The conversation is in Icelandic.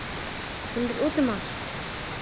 Hún er úti um allt.